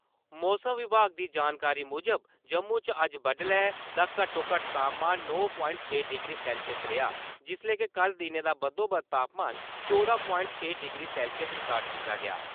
मौसम विभाग दी जानकारी मुजब, जम्मू च अज्ज बड्डलै दा घट्टोघट्ट तापमान नौ प्वांइट छे डिग्री सैल्सियस रेहा, जिसलै के कल दिनै दा बद्धोबद्ध तापमान चौदां प्वाइट छे डिग्री सैल्सियस रिकार्ड कीता गेआ।